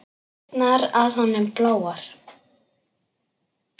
Dyrnar að honum bláar.